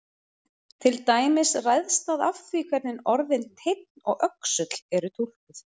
Til dæmis ræðst það af því hvernig orðin teinn og öxull eru túlkuð.